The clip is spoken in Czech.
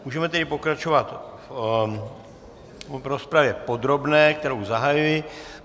Můžeme tedy pokračovat v rozpravě podrobné, kterou zahajuji.